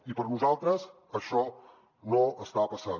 i per nosaltres això no està passant